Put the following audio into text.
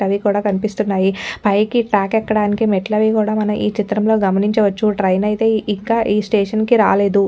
అవి కూడా కనిపిస్తున్నాయి పైకి ట్రాక్ ఎక్కడానికి మెట్లు అవి కూడా మనం ఈ చిత్రంలో గమనించవచ్చుఇంకా ట్రెయిన్ అయితే ఇంకా ఈ స్టేషన్ కి రాలేదు.